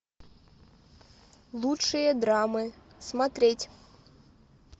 лучшие драмы смотреть